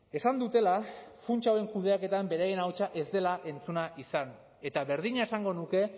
esan dutela funtsa hauen kudeaketan beraien ahotsa ez dela entzuna izan eta berdina esango nuke